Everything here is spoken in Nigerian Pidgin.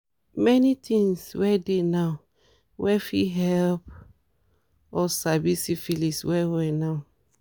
many things were dey now were fit help us sabi syphilis well well now